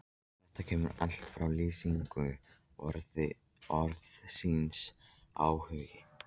Þetta kemur allt fram í lýsingu orðsins áhugi: